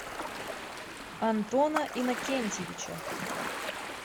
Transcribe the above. антона иннокентьевича